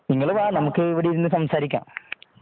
നിങ്ങള് വാ നമുക്ക് ഇവിടെ ഇരുന്ന് സംസാരിക്കാം